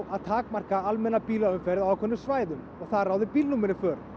að takmarka almenna bílaumferð á ákveðnum svæðum og þar ráði bílnúmerin för